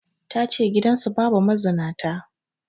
Ta ce gidansu babu mazinata